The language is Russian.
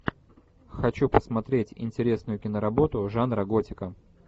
хочу посмотреть интересную киноработу жанра готика